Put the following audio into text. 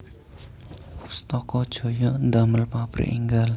Pustaka Jaya ndamel pabrik enggal